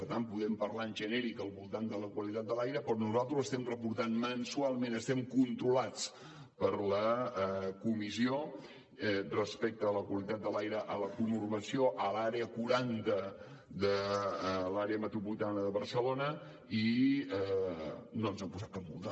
per tant podem parlar en genèric al voltant de la qualitat de l’aire però nosaltres estem reportant mensualment estem controlats per la comissió respecte a la qualitat de l’aire a la conurbació a l’àrea quaranta de l’àrea metropolitana de barcelona i no ens han posat cap multa